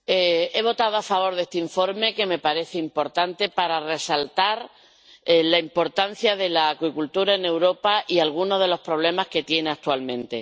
Señor presidente, he votado a favor de este informe, que me parece importante para resaltar la importancia de la acuicultura en Europa y alguno de los problemas que tiene actualmente.